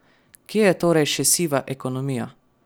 Kje je torej še siva ekonomija?